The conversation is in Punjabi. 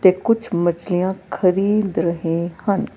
ਕੁਛ ਮਛਲੀਆਂ ਖਰੀਦ ਰਹੇ ਹਨ।